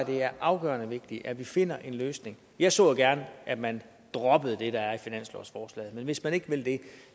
det er afgørende vigtigt at vi finder en løsning jeg så jo gerne at man droppede det der er i finanslovsforslaget men hvis man ikke vil det